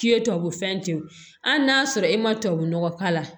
K'i ye tubabu fɛn ten hali n'a y'a sɔrɔ e ma tubabunɔgɔ k'a la